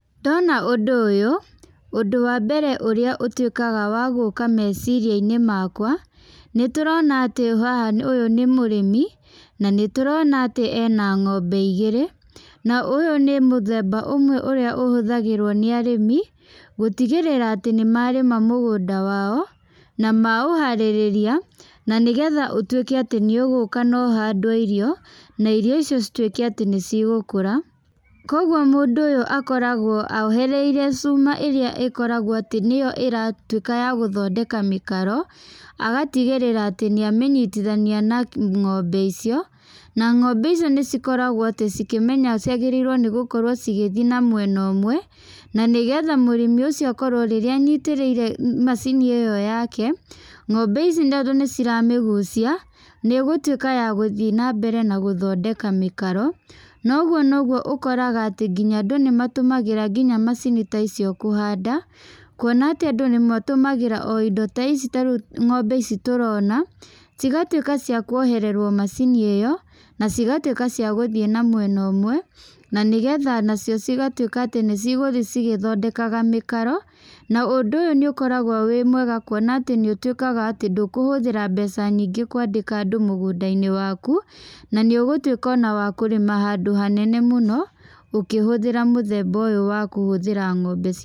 Ndona ũndũ ũyũ, ũndũ wa mbere ũrĩa ũtuĩkaga wa gũũka meciria-inĩ makwa, nĩ tũrona atĩ haha ũyũ nĩ mũrĩmi, na nĩ tũrona atĩ ena ng'ombe igĩrĩ. Na ũyũ nĩ mũthemba ũmwe ũrĩa ũhũthagĩrwo nĩ arĩmi, gũtigĩrĩra atĩ nĩ marĩma mũgũnda wao, na maũharĩrĩria, na nĩgetha ũtuĩke atĩ nĩ ũgũka na ũhandwe irio, na irio icio cituĩke atĩ nĩ cigũkũra. Kũguo mũndũ ũyũ akoragwo ahoreirie cuma ĩrĩa ĩkoragwo atĩ nĩyo ĩratuĩka ya gũthondeka mĩkaro, agatigĩrĩra atĩ nĩ amĩnyitithania na ng'ombe icio. Na ng'ombe icio nĩ cikoragwo atĩ cikĩmenya ciagĩrĩirwo nĩ gũkorwo cigĩthi na mwena ũmwe, na nĩgetha mũrĩmi ũcio akorwo rĩrĩa anyitĩrĩire macini ĩyo yake, ng'ombe ici tondũ nĩ ciramĩgucia, nĩ ĩgũtuĩka ya gũthi na mbere na gũthondeka mĩkaro. Na ũguo noguo ũkoraga atĩ nginya andũ nĩ matũmagĩra ngina macini ta icio kũhanda, kuona atĩ andũ nĩ matũmagĩra o indo ta ici ta rĩu ng'ombe ici tũrona, cigatuĩka cia kuohererwo macini ĩyo, na cigatuĩka cia gũthiĩ na mwena ũmwe, na nĩgetha nacio cigatuĩka atĩ nĩ cigũthi cigĩthondekaga mĩkaro. Na ũndũ ũyũ nĩ ũkoragwo wĩ mwega kuona atĩ nĩ ũtĩkaga atĩ ndũkũhũthĩra mbeca nyingĩ kwandĩka andũ mũgũnda-inĩ waku, na nĩ ũgũtuĩka ona wa kũrĩma handũ hanene mũno, ũkĩhũthĩra mũthemba ũyũ wa kũhũthĩra ng'ombe.